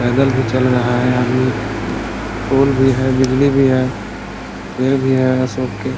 पैदल भी चल रहा है आदमी पोल भी है बिजली भी है पेड़ भी है अशोक के |